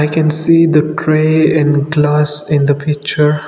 we can see the tray and glass in the picture.